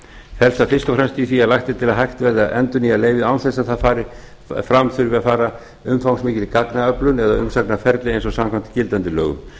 það fyrst og fremst í því að hægt verði að endurnýja leyfið án þess að fram þurfi að fara umfangsmikil gagnaöflun eða umsagnarferli eins og samkvæmt gildandi lögum